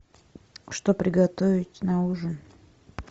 что приготовить на ужин